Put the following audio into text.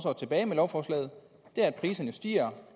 tilbage med lovforslaget er at priserne stiger